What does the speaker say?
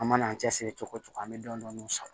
An mana an cɛsiri cogo o cogo an bɛ dɔɔnin dɔɔnin sɔrɔ